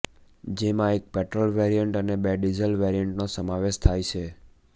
જેમાં એક petrol variant અને બે ડીઝલ વેરિયન્ટનો સમાવેશ થાય છે